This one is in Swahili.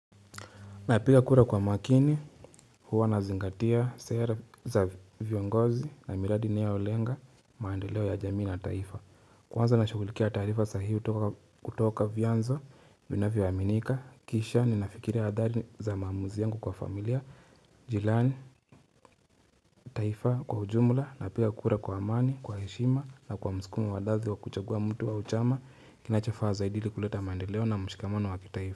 Napika kura kwa makini, huwa nazingatia sera za viongozi na miradi inayolenga maendeleo ya jamii na taifa. Kwanza nashukulikia tarifa sahihi hutoka kutoka vyanzo vinavyo aminika, kisha, ninafikiria adhari za maamuzi yangu kwa familia, jirani, taifa kwa ujumula. Napika kura kwa amani, kwa heshima na kwa msukumu wadadhi wa kuchagua mtu wa uchama, kinachafaa zaidili kuleta maandeleo na mshikamano wa taifa.